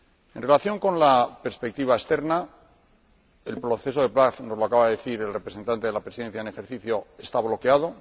En relación con la perspectiva externa, el proceso de paz —nos lo acaba de decir el representante de la Presidencia en ejercicio— está bloqueado.